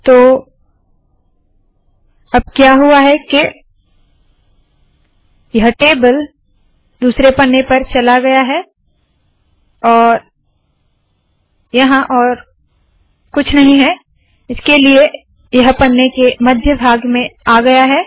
तो अब क्या हुआ है के यह टेबल दूसरे पन्ने पर चला गया है और यहाँ और कुछ नहीं है इसलिए यह पन्ने के मध्य भाग में आ गया है